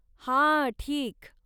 हा! ठीक.